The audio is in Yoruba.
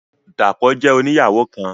Dapọ jẹ òníyawo kán.